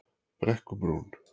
Brekkubrún